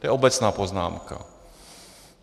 To je obecná poznámka.